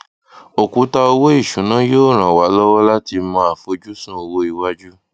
òkùtà owó ìṣúná yóò ràn wá lọwọ láti mọ àfojúsùn owó iwájú